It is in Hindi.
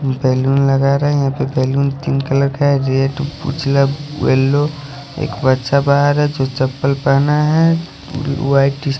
बैलून लगा रहे है बैलून पिंक कलर का है मतलब येल्लो एक बच्चा बाहर है जो चप्पल पहना है ओ--